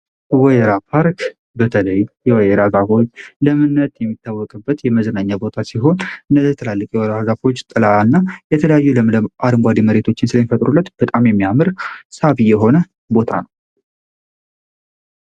ወይራ ፖርክ በተለይ የወራ ዛፎች ለምነት የሚታወቅበት የመዝናኛ ቦታ ሲሆን፤ እነዚህ ትላልቅ የወይራ ዛፎች ጥላ እና የተለያዩ ለምለም አድንጓዴ የመሬቶችን ስለሚፈጥሩለት በጣም የሚያምር ሳቢ የሆነ ቦታ ነው።